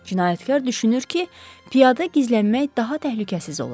Cinayətkar düşünür ki, piyada gizlənmək daha təhlükəsiz olar.